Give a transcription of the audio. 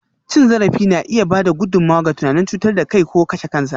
Cin zarafi na iya ba da gudummawa ga tunanin cutar da kai ko kashe kansa.